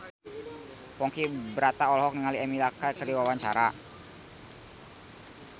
Ponky Brata olohok ningali Emilia Clarke keur diwawancara